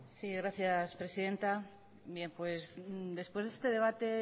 sí gracias presidenta bien pues después de este debate